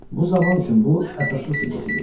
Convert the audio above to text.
Bu zaman üçün bu əsaslı sübut idi.